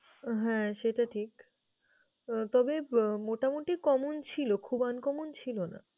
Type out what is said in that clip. হ্যাঁ! সেটা ঠিক। তবে মোটামোটি common ছিল, খুব uncommon ছিল না।